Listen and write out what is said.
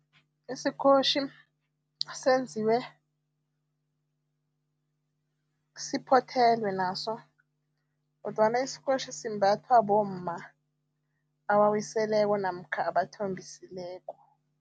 Isikotjhi senziwe siphothelwe naso kodwana isikotjhi simbathwa bomma abawiseleko namkha abathombisileko.